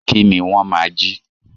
Kí ni wọ́n máa jí?